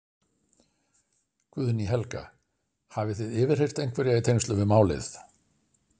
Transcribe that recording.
Guðný Helga: Hafið þið yfirheyrt einhverja í tengslum við málið?